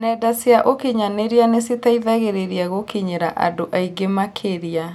Nenda cia ũkinyanĩria citeithagĩrĩria gũkinyĩra andũ aingĩ makĩria